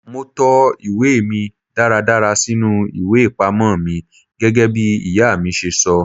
Mo to ìwé mi dáradára sínú ìwé ìpamọ́ mi gẹ́gẹ́bí ìyá mi ṣe sọ.